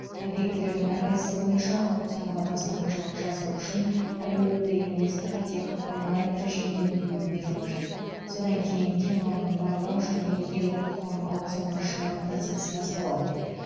объектілердің әрқайсысы бойынша аукционға бастамашылық жасау үшін әлеуетті инвесторға тек онлайн режимінде өтінім беру қажет содан кейін кен орнын барлау және игеру құқығын аукционға шығару процесі басталады